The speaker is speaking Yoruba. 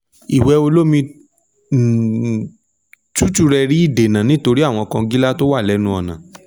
ìwẹ̀ olómi um tútù rẹ rí ìdènà nítorí àwọn kọngílá tí ó wà lẹ́nu ọ̀nà